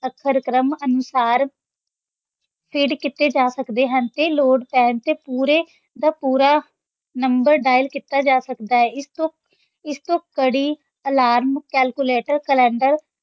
ਅੱਖਰ-ਕ੍ਰਮ ਅਨੁਸਾਰ feed ਕੀਤੇ ਜਾ ਸਕਦੇ ਹਨ ਤੇ ਲੋੜ ਪੈਣ ‘ਤੇ ਪੂਰੇ ਦਾ ਪੂਰਾ number dial ਕੀਤਾ ਜਾ ਸਕਦਾ ਹੈ, ਇਸ ਤੋਂ ਇਸ ਤੋਂ ਘੜੀ alarm, calculator, calendar